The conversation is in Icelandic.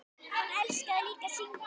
Nánar að henni síðar.